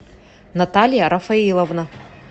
наталья рафаиловна